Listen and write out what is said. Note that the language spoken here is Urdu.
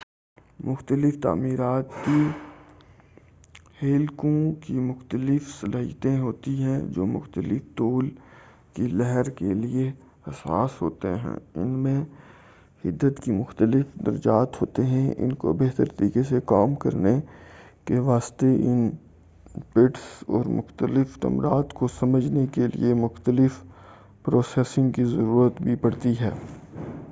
مختلف تعمیراتی ہیکلوں کی مختلف صلاحیتیں ہوتی ہیں وہ مختلف طول کی لہر کے لئے حساس ہوتے ہیں اور ان میں حدت کے مختلف درجات ہوتے ہیں ان کو بہتر طریقے سے کام کرنے کے واسطے ان-پٹس اور مختلف نمبرات کو سمجھنے کے لیے مختلف پروسیسنگ کی ضرورت بھی پڑتی ہے